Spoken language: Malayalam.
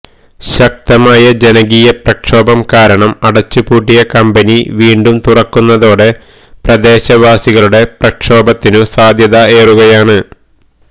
ശക്തമായ ജനകീയ പ്രക്ഷോപം കാരണം അടച്ച് പൂട്ടിയ കമ്പനി വീണ്ടും തുറക്കുന്നതോടെ പ്രദേശവാസികളുടെ പ്രക്ഷോപത്തിനും സാധ്യത ഏറുകയാണ്